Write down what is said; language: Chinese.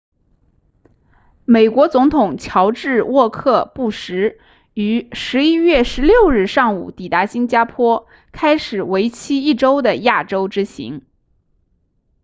美国总统乔治沃克布什于11月16日上午抵达新加坡开始为期一周的亚洲之行